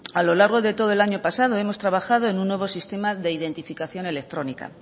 a lo largo de todo el año pasado hemos trabajado en un nuevo sistema de identificación electrónica